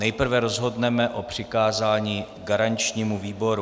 Nejprve rozhodneme o přikázání garančnímu výboru.